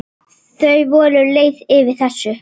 Þau voru leið yfir þessu.